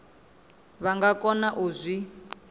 vha nga kona u zwi